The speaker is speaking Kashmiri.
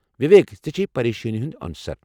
وویک، ژے٘ چھی پریشٲنی ہُنٛد عنصر۔